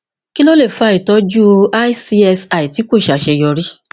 kí ló lè fa ìtọjú icsi tí kò ṣe àṣeyọrí